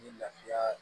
Ni lafiya